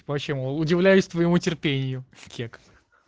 почему удивляюсь твоему терпению кекс